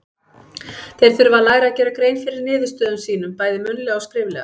Þeir þurfa að læra að gera grein fyrir niðurstöðum sínum, bæði munnlega og skriflega.